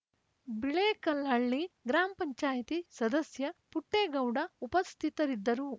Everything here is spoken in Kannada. ಬಿಳೇಕಲ್ಲಹಳ್ಳಿ ಗ್ರಾಮ ಪಂಚಾಯತ್ ಸದಸ್ಯ ಪುಟ್ಟೇಗೌಡ ಉಪಸ್ಥಿತರಿದ್ದರು